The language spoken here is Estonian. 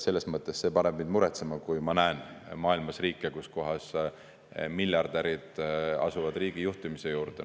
Selles mõttes see paneb mind muretsema, kui ma näen maailmas riike, kus miljardärid asuvad riigijuhtimise juurde.